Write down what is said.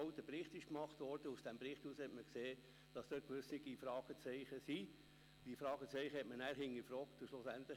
Zunächst möchte ich aber Kollegin Anita Luginbühl Danke sagen.